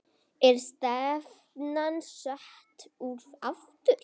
Er stefnan sett út aftur?